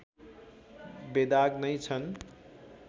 बेदाग नै छन्